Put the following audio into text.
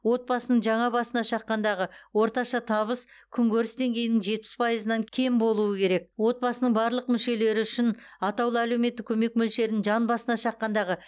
отбасының жаңа басына шаққандағы орташа табыс күнкөріс деңгейінің жетпіс пайызынан кем болуы керек отбасының барлық мүшелері үшін атаулы әлеуметтік көмек мөлшерін жан басына шаққандағы